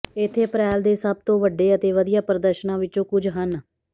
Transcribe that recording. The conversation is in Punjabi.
ਇੱਥੇ ਅਪ੍ਰੈਲ ਦੇ ਸਭ ਤੋਂ ਵੱਡੇ ਅਤੇ ਵਧੀਆ ਪ੍ਰਦਰਸ਼ਨਾਂ ਵਿੱਚੋਂ ਕੁਝ ਹਨ